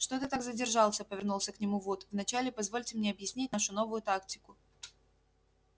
что ты так задержался повернулся к нему вуд вначале позвольте мне объяснить нашу новую тактику